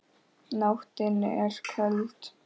Nóttin er köld.